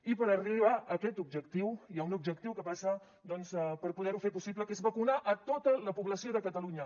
i per arribar a aquest objectiu hi ha un objectiu que passa doncs per poder ho fer possible que és vacunar a tota la població de catalunya